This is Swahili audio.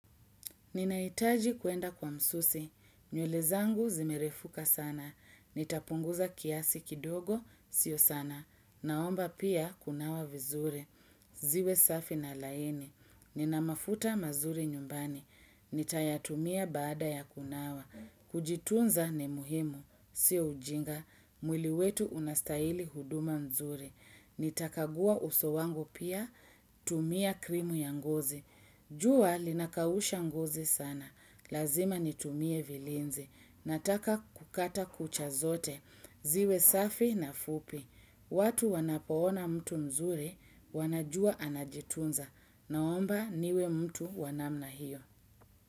Ninahitaji kuenda kwa msusi, nywele zangu zimerefuka sana, nitapunguza kiasi kidogo, sio sana, naomba pia kunawa vizuri, ziwe safi na laini, nina mafuta mazuri nyumbani, nitayatumia baada ya kunawa, kujitunza ni muhimu, sio ujinga, mwili wetu unastahili huduma mzuri, nitakagua uso wangu pia, tumia krimu ya ngozi. Jua linakausha ngozi sana. Lazima nitumie vilinzi. Nataka kukata kucha zote. Ziwe safi na fupi. Watu wanapoona mtu mzuri, wanajua anajitunza. Naomba niwe mtu wanamna hiyo.